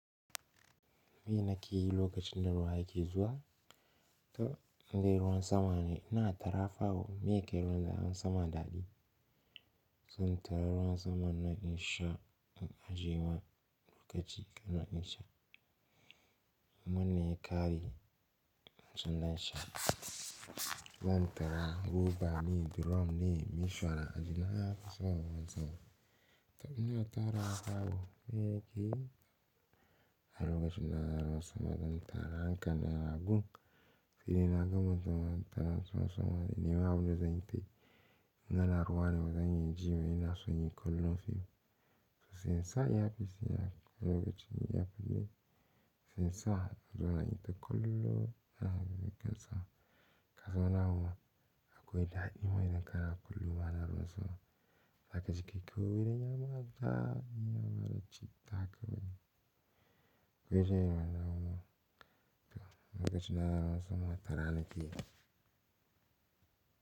Me na ke yi lokacin da ruwa yake zuwa? To, in dai ruwan sama ne, ina tarafa wa me yakai ruwan sama daɗi. Zan tara ruwan saman nan in sha in ajje ma lokaci sanna in sha. In wannan ya kare wancen zan sha. Zan tara roba ne, drum ne, mishauna ajena nafison ruwan sama. To ina tarawa fa wo me yake yi a lokacin ana ruwan sama. Zan tara hankalin na na gun. Sai dai na gama tarar ruwan sama, nima abune zan yi tayi. In ana ruwa ne zan jiwai ina so inyi kullum fim. To sai in sa earpiece ina lokacin in iya kallo. Sai in sa in zauna in yi ta kallon ana ruwan sama. Kasan wani abu akwai daɗi ma idan kana kallo ma ana ruwan sama. Zakaji kai kawai, wurin yama daɗi yabada citta kawai. Gobe sheima na yau. To lokacin da ana ruwan sama tara na ke yi.